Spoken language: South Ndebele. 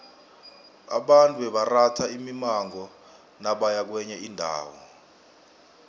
abantu bebaratha imimango nabaya kwenye indawo